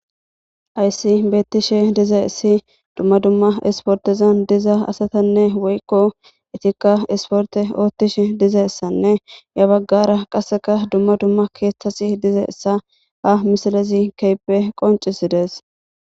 Hayssi betishe dizayssi duma duma isportezan diza asatane woykko etika isporte otishe dizayssane ya baggara qasseka duma duma keththazi dizayssa ha misilezi kehipe qoncisizes.